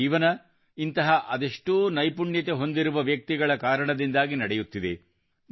ನಮ್ಮ ಜೀವನ ಇಂತಹ ಅದೆಷ್ಟೋ ನೈಪುಣ್ಯತೆ ಹೊಂದಿರುವ ವ್ಯಕ್ತಿಗಳ ಕಾರಣದಿಂದಾಗಿ ನಡೆಯುತ್ತಿದೆ